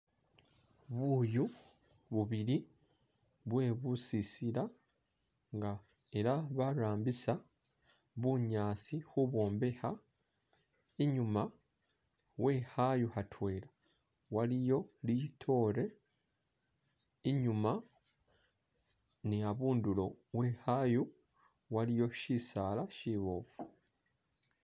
Buyu bubili bwe busisila nga ela barambisa bunyasi kubwombekha inyuma wekhayu khatwela waliyo litore inyuma ni khabundulo wekhayu waliyo shisaala shibofu.